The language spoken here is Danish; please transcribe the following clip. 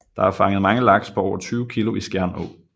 Der er fanget mange laks på over 20 kilo i Skjern Å